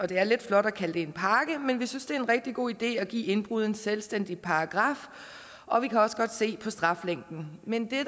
det er lidt flot at kalde det en pakke men vi synes det en rigtig god idé at give indbrud en selvstændig paragraf og vi kan også godt se på straflængden men det